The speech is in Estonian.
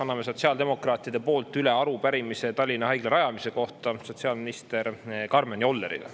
Anname sotsiaaldemokraatide poolt üle arupärimise Tallinna Haigla rajamise kohta sotsiaalminister Karmen Jollerile.